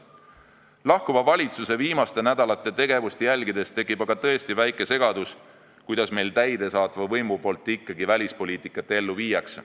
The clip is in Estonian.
Lahkuva valitsuse viimaste nädalate tegevust jälgides tekib aga tõesti väike segadus, kuidas meil täidesaatev võim ikkagi välispoliitikat ellu viib.